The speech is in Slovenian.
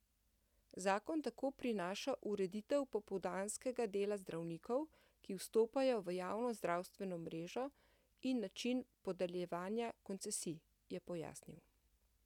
Zakon tako prinaša ureditev popoldanskega dela zdravnikov, ki vstopajo v javno zdravstveno mrežo, in način podeljevanja koncesij, je pojasnil.